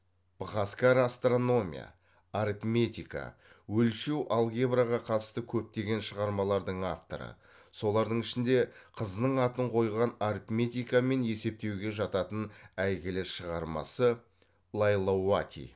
быхаскара астрономия арифметика өлшеу алгебраға қатысты көптеген шығармалардың авторы солардың ішінде қызының атын қойған арифметика мен есептеуге жататын әйгілі шығармасы лайлауати